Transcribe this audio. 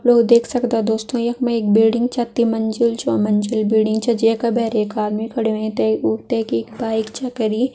लो देख सकदा दोस्तों यक मा एक बिल्डिंग छ तिमंजिल चौमंजिल बिल्डिंग छ जे का भैर एक आदमी खड़ो होयुं ते कु तेकिक बाइक छ करीं।